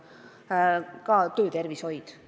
Sama võib öelda töötervishoiu kohta.